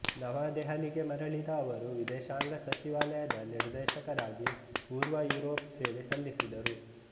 ನವದೆಹಲಿಗೆ ಮರಳಿದ ಅವರು ವಿದೇಶಾಂಗ ಸಚಿವಾಲಯದ ನಿರ್ದೇಶಕರಾಗಿ ಪೂರ್ವ ಯುರೋಪ್ ಸೇವೆ ಸಲ್ಲಿಸಿದರು